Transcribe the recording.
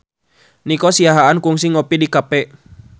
Nico Siahaan kungsi ngopi di cafe